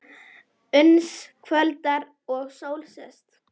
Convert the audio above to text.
Uns kvöldar og sól sest.